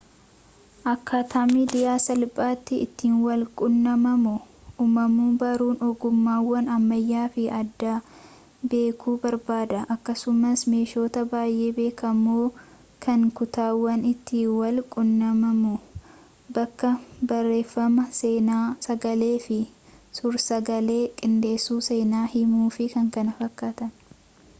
akkaataa midiiyaan salphaatti ittiin waln qunnamaamu uumamu baruun ogummaawwan ammayyawwa fi aadaa beekuu barbaada akkasumaas meeshotaa baayee beekamoo kan kutaawwan itti wal qunnamamu bakkabarreeffamaa seena sagalee fi suur-sagalee qindessu seenaa himuu fi kkf.